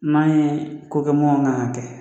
N'an ye ko kɛ mun man ka kɛ